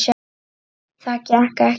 Það gekk ekki